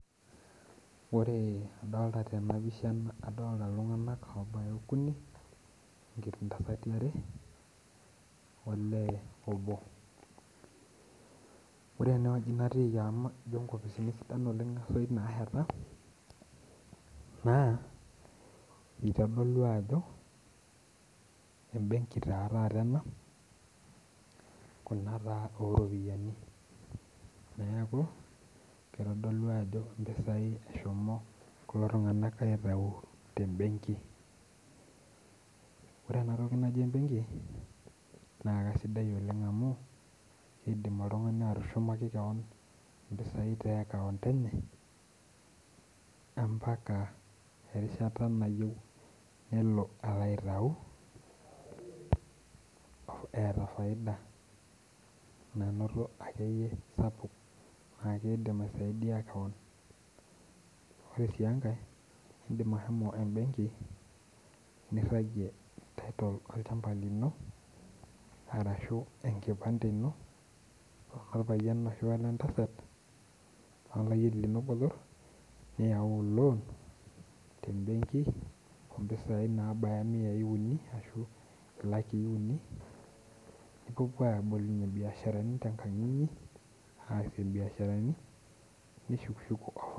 Ore adolta tenapisha adolta iltung'anak obaya okuni, ketii ntasati are, olee obo. Ore enewueji natiiki amu ijo nkopisini sidan oleng esoit naheta, naa, itodolu ajo ebenki taa taata ena, ena taa oropiyiani, neeku kitodolu ajo mpisai eshomo kulo tung'anak aitau tebenki. Ore enatoki naji ebenki, na kasidai oleng amu kidim oltung'ani atushumaki keon impisai teakaunt eney, ampaka erishata nayieu nelo alo aitau, eeta faida nanoto akeyie sapuk na kidim aisaidia keon. Ore si enkae, idim ahomo ebenki, nirragie title olchamba lino, arashu enkipande ino orpayian ashu wenentasat, olayieni lino botor, niyau lon tebenki ompisai nabaya miai uni ashu ilakii uni, nipuopuo abolie biasharani tenkang inyi, aasie biasharani, nishukushuku